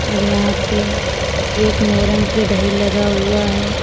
और यहां पे एक मोरंग के ढेर लगा हुआ है।